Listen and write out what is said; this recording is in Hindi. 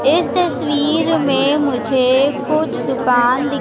इस तस्वीर में मुझे कुछ दुकान दि--